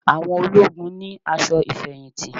Àwọn ológun ni aṣọ ìfẹ̀yìntì